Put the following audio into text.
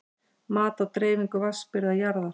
Mat á dreifingu vatnsbirgða jarðar.